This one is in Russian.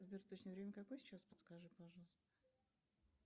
сбер точное время какое сейчас подскажи пожалуйста